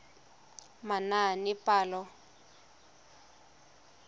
manaanepalo